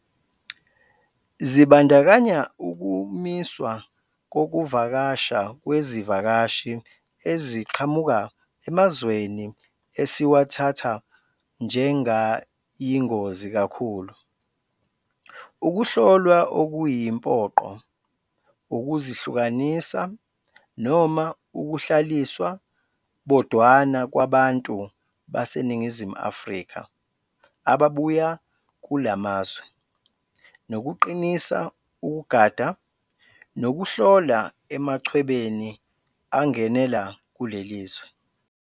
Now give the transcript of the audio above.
Zibandakanya ukumiswa kokuvakasha kwezivakashi eziqhamuka emazweni esiwathatha njengayingozi kakhulu, ukuhlolwa okuyimpoqo, ukuzihlukanisa noma ukuhlaliswa bodwana kwabantu baseNingizimu Afrika ababuya kulamazwe, nokuqinisa ukugada, nokuhlola emachwebeni angenela kulelizwe.